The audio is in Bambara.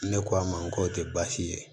Ne k'a ma k'o tɛ baasi ye